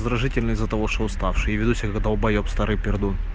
из-за того что уставший и ведущих долбаеб старый пердун